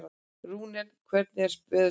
Rúnel, hvernig er veðurspáin?